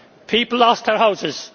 People lost their houses